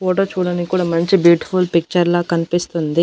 Photo చూడనికి కూడా మంచి బ్యూటిఫుల్ పిక్చర్ లా కనిపిస్తుంది.